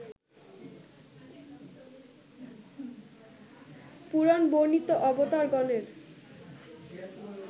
পুরাণ বর্ণিত অবতারগণের